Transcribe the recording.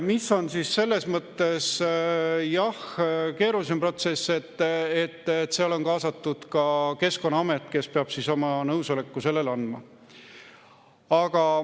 ... mis on selles mõttes keerulisem protsess, et seal on kaasatud ka Keskkonnaamet, kes peab oma nõusoleku andma.